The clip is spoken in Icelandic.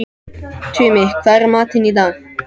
Tumi, hvað er í matinn á sunnudaginn?